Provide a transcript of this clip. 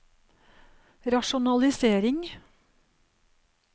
rasjonalisering